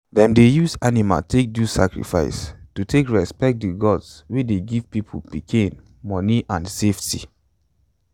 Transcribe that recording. them dey use animal take do sacrifice to take respect the gods wey dey give people pikin money and safety.